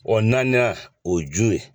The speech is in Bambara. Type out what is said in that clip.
O naani o jon ye